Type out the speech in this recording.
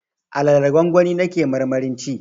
Alalar gwangwani na ke marmarin ci